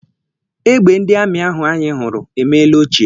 Egbe ndị amị ahụ anyị hụrụ emeela ochie.